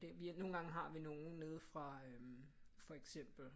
Det vi nogle gange har vi nogle nede fra øh for eksempel